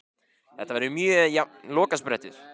Þetta verður mjög jafn lokasprettur.